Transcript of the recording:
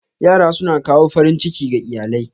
Yara suna kawo farin ciki ga iyalai.